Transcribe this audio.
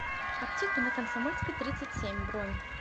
аптека на комсомольской тридцать семь бронь